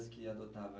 que adotava?